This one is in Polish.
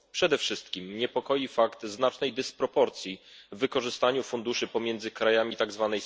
Przede wszystkim niepokoi fakt znacznej dysproporcji w wykorzystaniu funduszy pomiędzy krajami tzw.